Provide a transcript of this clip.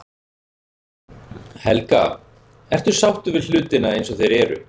Helga: Ertu sáttur við hlutina eins og þeir eru?